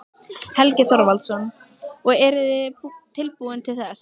Helgi Þorvaldsson: Og eruð þið tilbúin til þess?